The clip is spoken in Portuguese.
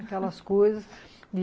Aquelas coisas.